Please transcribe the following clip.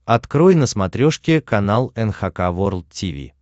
открой на смотрешке канал эн эйч кей волд ти ви